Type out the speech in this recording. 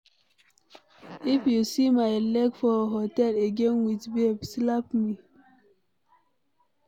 If you see my leg for hotel again with babe slap me.